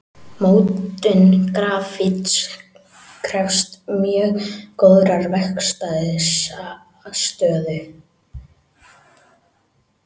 Mótun grafíts krefst mjög góðrar verkstæðisaðstöðu.